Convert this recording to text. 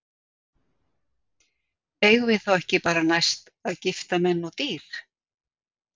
Eigum við þá ekki næst bara að gifta menn og dýr?